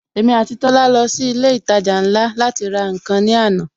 Èmi àti Tola lọ sí ilé ìtajà ńlá láti ra nkan ní àná